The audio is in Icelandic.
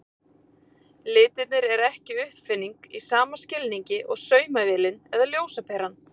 Litirnir eru ekki uppfinning í sama skilningi og saumavélin eða ljósaperan.